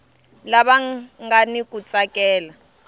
lava nga ni ku tsakela